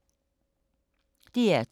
DR2